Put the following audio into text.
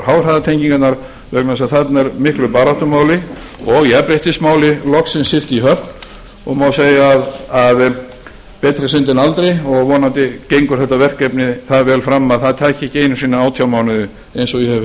háhraðatengingarnar vegna þess að þarna er miklu baráttumáli og jafnréttismáli loksins siglt í höfn og má segja að betra er seint en aldrei og vonandi gengur þetta verkefni það vel fram að það taki ekki einu sinni átján mánuði eins og ég hef